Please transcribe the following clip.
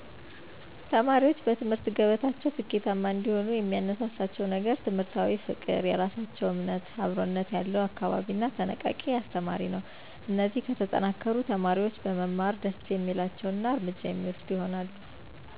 ተማሪዎች በትምህርት ገበታቸው ስኬታማ እንዲሆኑ የሚያነሳሳቸው ነገር ትምህርታዊ ፍቅር፣ የራሳቸውን እምነት፣ አብረኝነት ያለው አካባቢ እና ተነቃቂ አስተማሪ ነው። እነዚህ ከተጠናከሩ፣ ተማሪዎች በመማር ደስ የሚላቸው እና እርምጃ የሚወስዱ ይሆናሉ።